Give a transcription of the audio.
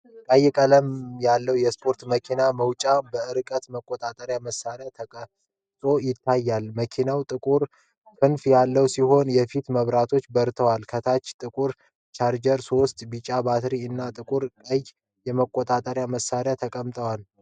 ቀይ ቀለም ያለው የስፖርት መኪና መጫወቻ በእርቀት መቆጣጠሪያ መሳሪያዎች ተቀርጾ ይታያል። መኪናው ጥቁር ክንፍ ያለው ሲሆን የፊት መብራቶቹ በርተዋል። ከታች ጥቁር ቻርጀር፣ ሶስት ቢጫ ባትሪዎች እና ጥቁርና ቀይ የመቆጣጠሪያ መሳሪያ ተቀምጠዋል።